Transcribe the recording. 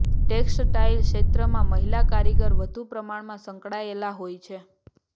tax tile ક્ષેત્રમાં મહિલા કારીગર વધુ પ્રમાણમાં સંકળાયેલા હોય છે